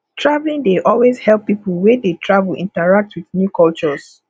traveling dey also help people wey dey travel interact with new cultures